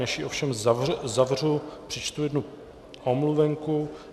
Než ji ovšem zavřu, přečtu jednu omluvenku.